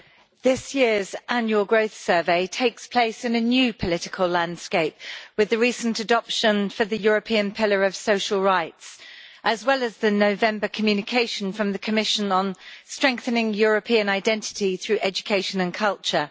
This year's annual growth survey takes place in a new political landscape, with the recent adoption of the European pillar of social rights as well as the November communication from the Commission on strengthening European identity through education and culture.